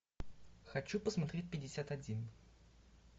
хочу посмотреть пятьдесят один